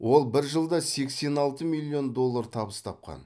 ол бір жылда сексен алты миллион доллар табыс тапқан